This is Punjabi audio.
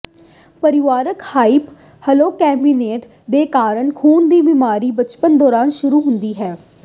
ਪਰਿਵਾਰਕ ਹਾਈਪਰਕੋਲੇਸਟੋਲੇਮੀਅਮ ਦੇ ਕਾਰਨ ਖੂਨ ਦੀ ਬਿਮਾਰੀ ਬਚਪਨ ਦੌਰਾਨ ਸ਼ੁਰੂ ਹੁੰਦੀ ਹੈ